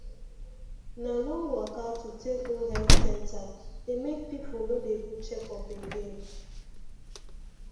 na long waka to take go health center dey make people no dey do checkup again